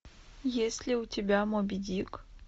есть ли у тебя моби дик